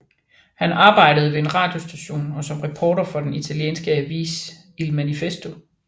Han arbejdede ved en radiostation og som reporter for den italienske avis Il Manifesto